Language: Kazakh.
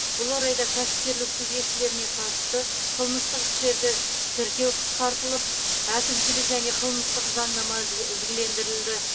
бұл орайда кәсіпкерлік субъектілеріне қатысты қылмыстық істерді тіркеу қысқартылып әкімшілік және қылмыстық заңнама ізгі ізгілендірілді